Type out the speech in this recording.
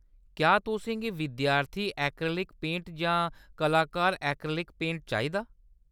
क्या तुसें गी विद्यार्थी ऐक्रेलिक पेंट जां कलाकार ऐक्रेलिक पेंट चाहिदा ?